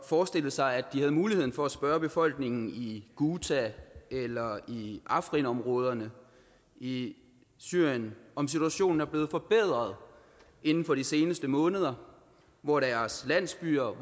forestille sig at de havde muligheden for at spørge befolkningen i ghouta eller i afrin områderne i syrien om situationen er blevet forbedret inden for de seneste måneder hvor deres landsbyer